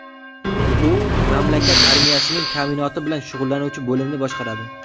U mamlakat armiyasining ta’minoti bilan shug‘ullanuvchi bo‘limni boshqaradi.